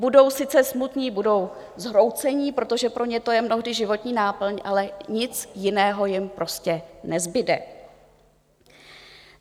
Budou sice smutní, budou zhroucení, protože pro ně je to mnohdy životní náplň, ale nic jiného jim prostě nezbude.